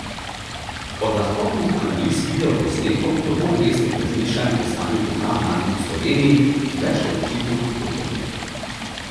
Od lahkotnih analiz video posnetkov do bolj resnih razmišljanj o stanju duha mladih v Sloveniji, ki več kot očitno hudo trpi.